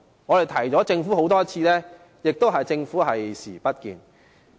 我們已多次提醒政府，政府卻視而不見。